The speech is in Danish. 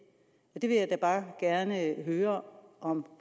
det vil jeg da bare gerne høre om